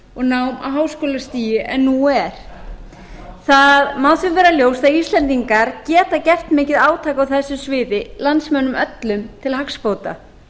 á háskólastigi en nú er það má því vera ljóst að íslendingar geta gert mikið átak á þess boði landsmönnum öllum til hagsbóta